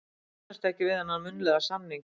Ég kannast ekkert við þennan munnlega samning.